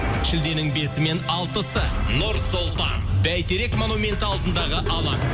шілденің бесі мен алтысы нұр сұлтан бәйтерек монументі алдындағы алаң